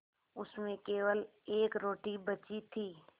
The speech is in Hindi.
उसमें केवल एक रोटी बची थी